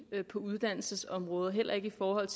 på uddannelsesområdet heller ikke i forhold